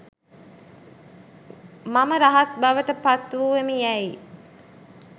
මම රහත් බවට පත් වූවෙමි යැයි